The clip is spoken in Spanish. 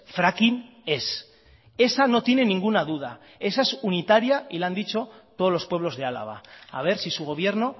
fracking ez esa no tiene ninguna duda esa es unitaria y la han dicho todos los pueblos de álava a ver si su gobierno